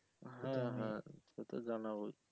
সে তো জানাবোই